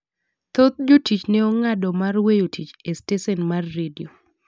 Thoth jotich ne ong'ado mar weyo tich e stesen mar redio.